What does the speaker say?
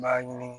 N b'a ɲini